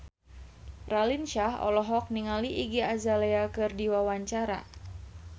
Raline Shah olohok ningali Iggy Azalea keur diwawancara